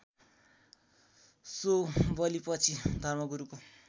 so बलिपछि धर्मगुरुको